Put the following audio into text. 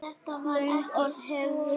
Löngu orðin hefð.